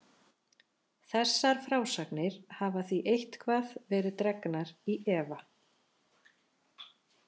Þessar frásagnir hafa því eitthvað verið dregnar í efa.